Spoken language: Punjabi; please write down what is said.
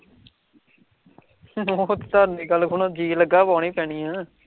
ਜੀ ਲੱਗਾ ਪਾਉਣੀ ਪੈਣੀ ਐ